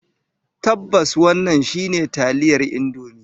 Tabbas, wannan shine taliyar Indomie.